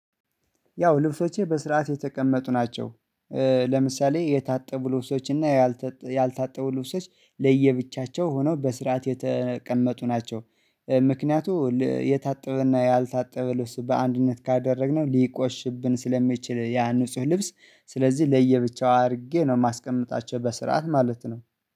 ያው ልብሶቼ በስርዓት የተቀመጡ ናቸው። ለምሳሌ የታጠቡ ልብሶች እና ያልታጠቡ ለየብቻቸው ሆነው በስርዓት የተቀመጡ ናቸው። ምክንያቱም የታጠበና ያልታጠበ ልብስ በአንድነት ካደረግነው ሊቆሽብን ስለሚችል ያ ንጹህ ልብስ ስለዚህ ለየብቻው አድርጌ ነው የማስቀምጣቸው በስርዓት ማለት ነው